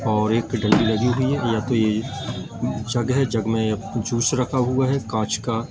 और एक लगी हुई है या तो ये जग है जग में जूस रखा हुआ है कांच का--